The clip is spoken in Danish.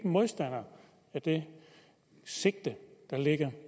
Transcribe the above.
modstander af det sigte der ligger